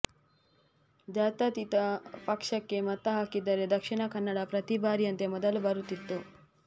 ಜಾತ್ಯತೀತ ಪಕ್ಷಕ್ಕೆ ಮತ ಹಾಕಿದ್ದರೆ ದಕ್ಷಿಣ ಕನ್ನಡ ಪ್ರತಿ ಬಾರಿಯಂತೆ ಮೊದಲು ಬರುತ್ತಿತ್ತು